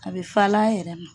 A bɛ falen a yɛrɛ ma.